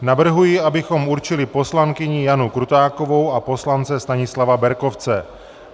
Navrhuji, abychom určili poslankyni Janu Krutákovou a poslance Stanislava Berkovce.